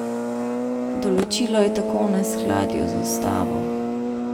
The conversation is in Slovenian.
Določilo je tako v neskladju z ustavo.